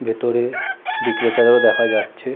ভেতরে বিক্রেতাদেরও দেখা যাচ্ছে।